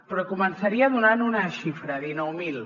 però començaria donant una xifra dinou mil